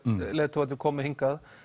leiðtogarnir komu hingað